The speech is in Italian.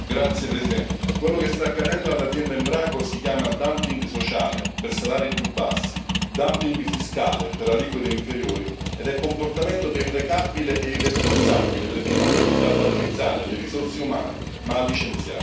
Signor Presidente, onorevoli colleghi, quello che sta accadendo all'azienda Embraco si chiama dumping sociale per salari più bassi, dumping fiscale per aliquote inferiori, ed è un comportamento deprecabile e irresponsabile perché non punta a valorizzare le risorse umane, ma